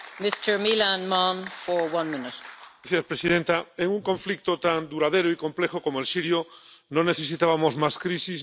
Señora presidenta, en un conflicto tan duradero y complejo como el sirio no necesitábamos más crisis ni más intervenciones unilaterales.